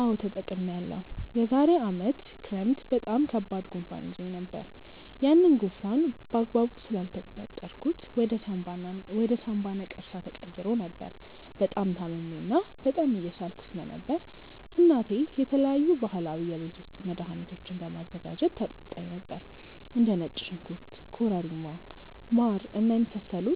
አዎ ተጠቅሜያለሁ። የዛሬ አመት ክረምት በጣም ከባድ ጉንፋን ይዞኝ ነበር። ያንን ጉንፋን በአግባቡ ስላልተቆጣጠርኩት ወደ ሳምባ ነቀርሳ ተቀይሮ ነበር። በጣም ታምሜ እና በጣም እየሳልኩ ስለነበር እናቴ የተለያዩ ባህላዊ የቤት ውስጥ መድሀኒቶችን በማዘጋጀት ታጠጣኝ ነበር። እንደ ነጭ ሽንኩርት ኮረሪማ ማር እና የመሳሰሉ